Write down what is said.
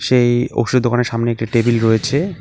সেই ওষুধের দোকানের সামনে একটি টেবিল রয়েছে।